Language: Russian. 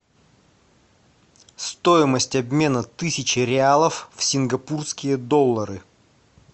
стоимость обмена тысячи реалов в сингапурские доллары